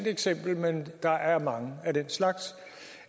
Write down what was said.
eksempel men der er mange af den slags